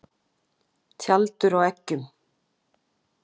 Tjaldur á eggjum.